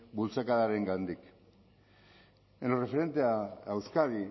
bultzakadarengandik en lo referente a euskadi